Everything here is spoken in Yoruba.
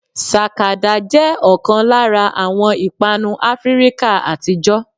Sàkàdá jẹ́ ọ̀kan lára àwọn ìpanu áfíríkà àtijọ́